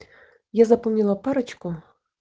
я запомнила парочку